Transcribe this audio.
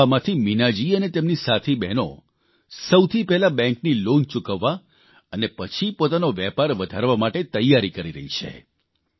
આ નફામાંથી મીનાજી અને તેમની સાથી બહેનો સૌથી પહેલાં બેંકની લોન ચૂકવવા અને પછી પોતાનો વેપાર વધારવા માટે તૈયારી કરી રહી છે